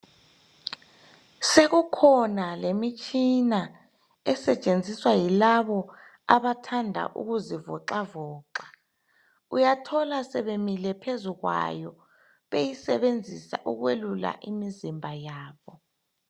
Sekukhona lemitshina esetshenziswa yilabo abathanda ukuzivoxavoxa, uyathola sebemile phezu kwayo beyisebenzisa ukwelula imizimba yabo.